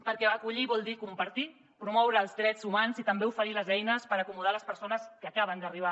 perquè acollir vol dir compartir promoure els drets humans i també oferir les eines per acomodar les persones que acaben d’arribar